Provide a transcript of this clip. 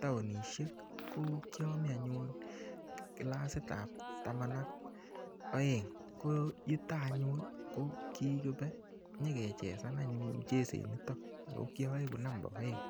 taonishek, ko kiami anyun kilasit ap taman ak aeng. Ko yutok anyun, ko kikibe, nyikechesan anyun mucheset nitok. Ako kiaeku namba aeng.